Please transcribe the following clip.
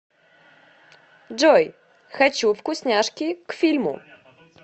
джой хочу вкусняшки к фильму